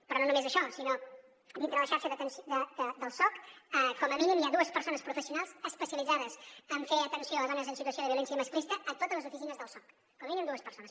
però no només això sinó que dintre de la xarxa del soc com a mínim hi ha dues persones professionals especialitzades en fer atenció a dones en situació de violència masclista a totes les oficines del soc com a mínim dues persones